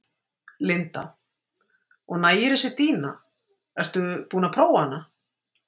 Linda: Og nægir þessi dýna, ert þú búin að prófa hana?